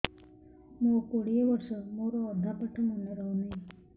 ମୋ କୋଡ଼ିଏ ବର୍ଷ ମୋର ଅଧା ପାଠ ମନେ ରହୁନାହିଁ